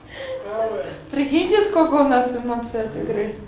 прикиньте сколько у нас эмоции от игр